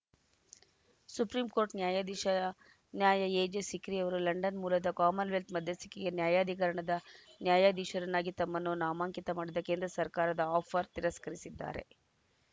supreme Court ನ್ಯಾಯಾಧೀಶ ನ್ಯಾಯ AJ Sikri ಅವರು ಲಂಡನ್‌ ಮೂಲದ ಕಾಮನ್‌ವೆಲ್ತ್‌ ಮಧ್ಯಸ್ಥಿಕೆ ನ್ಯಾಯಾಧಿಕರಣದ ನ್ಯಾಯಾಧೀಶರನ್ನಾಗಿ ತಮ್ಮನ್ನು ನಾಮಾಂಕಿತ ಮಾಡಿದ್ದ ಕೇಂದ್ರ ಸರ್ಕಾರದ ಆಫರ್‌ ತಿರಸ್ಕರಿಸಿದ್ದಾರೆ